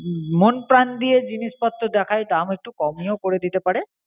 মোন প্রাণ দিয়ে জিনিস পত্র দেখায়, দাম একটু কোমে ও করে দিতে পরে.